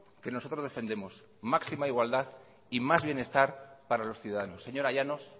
que nosotros defendemos máxima igualdad y más bienestar para los ciudadanos señora llanos